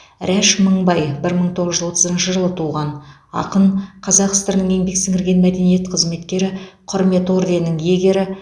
рәш мыңбай бір мың тоғыз жүз отызыншы жылы туған ақын қазақ сср інің еңбек сіңірген мәдениет қызметкері құрмет орденінің иегері